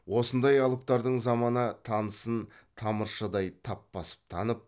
осындай алыптардың замана тынысын тамыршыдай тап басып танып